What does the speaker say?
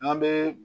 An bɛ